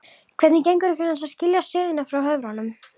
Hvernig gengur ykkur annars að skilja sauðina frá höfrunum?